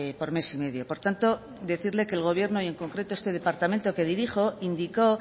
por mes y medio por tanto decirle que el gobierno y en concreto este departamento que dirijo indicó